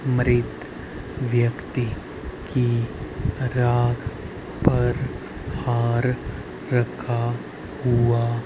मृत व्यक्ति के राह पर हार रखा हुआ--